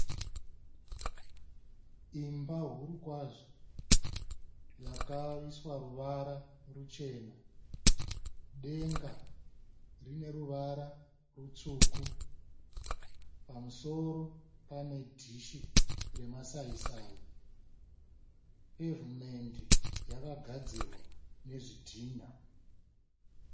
Imba huru kwazvo yakaiswa ruvara ruchena. Denga rine ruvara rutsvuku. Pamusoro pane dhishi remasaisai. Pevhumendi yakagadzirwa nezvidhina